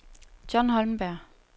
Jon Holmberg